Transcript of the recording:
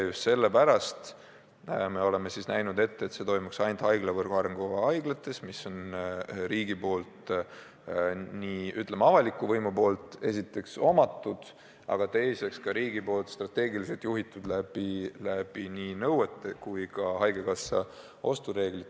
Just sellepärast oleme ette näinud, et see toimuks ainult haiglavõrgu arengukavas nimetatud haiglates, mis tegutsevad avaliku võimu silme all ja mida riik ka strateegiliselt juhib, olles kehtestanud neile nõuded ja ka haigekassa ostureegid.